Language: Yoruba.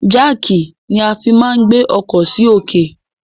Jáàkì ni a fi máa ń gbé ọkọ sì òkè.